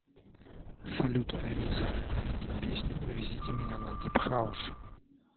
салют алиса найди песню увезите меня на дип хаус